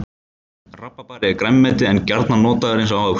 Rabarbari er grænmeti en gjarnan notaður eins og ávöxtur.